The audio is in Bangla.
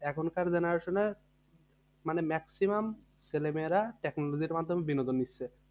এখনকার generation এর মানে maximum ছেলে মেয়েরা technology এর মাধ্যমে বিনোদন নিচ্ছে